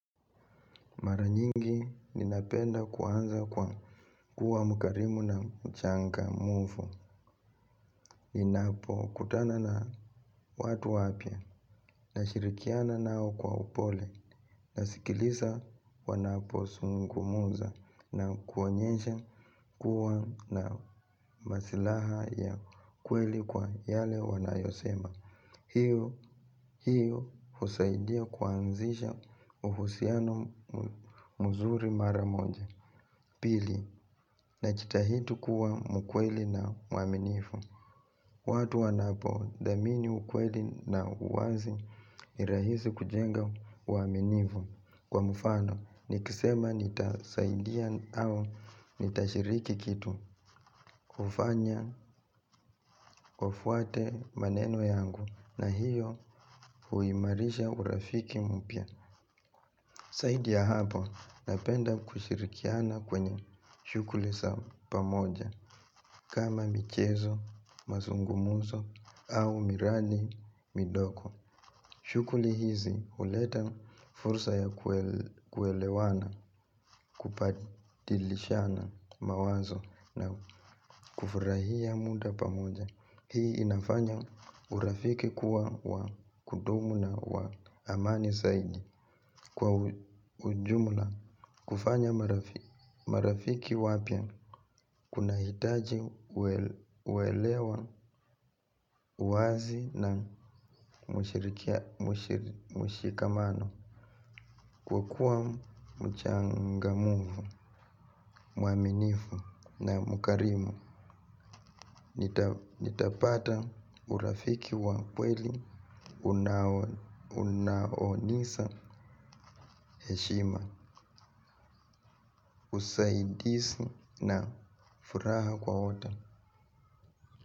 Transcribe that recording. Mara nyingi ninapenda kuanza kwa kuwa mkarimu na mchangamufu, ninapokutana na watu wapya, na shirikiana nao kwa upole, na sikiliza wanapo zungumuza, na kuonyesha kuwa na masilaha ya kweli kwa yale wanayosema. Hiyo husaidia kuanzisha uhusiano mzuri mara moja. Pili, na jitahidi kuwa mkweli na muaminifu. Watu wanapo dhamini ukweli na uwazi ni rahisi kujenga uaminifu. Kwa mfano, nikisema nitasaidia au nitashiriki kitu hufanya wafuate maneno yangu na hiyo huimarisha urafiki mpya. Zaidi ya hapo napenda kushirikiana kwenye shughuli za pamoja kama michezo, mazungumuzo au mirandi midogo. Shughuli hizi huleta fursa ya kuelewana kubadilishana mawazo na kufurahia muda pamoja. Hii inafanya urafiki kuwa wa kudumu na wa amani zaidi. Kwa ujumla kufanya marafiki wapya kuna hitaji uwelewa uwazi na mushikamano. Kwa kuwa mchangamufu, muaminifu na mkarimu nitapata urafiki wa kweli, unaonisa heshima, usaidiszi na furaha kwa wote.